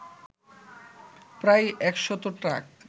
প্রায় একশত ট্রাক